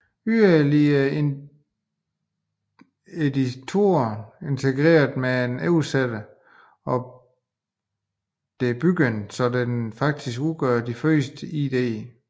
Ydermere er editoren integreret med oversætteren og debuggeren så det faktisk udgør den første IDE